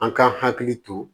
An ka hakili to